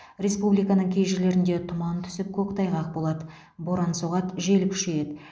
республиканың кей жерлерінде тұман түсіп көктайғақ болады боран соғады жел күшейеді